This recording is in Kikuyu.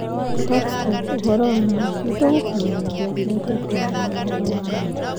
(Talksport) ũhoro wa ma, nĩ tũgũkũmenyithia rĩrĩa tũkũmenya ũhoro wa ma.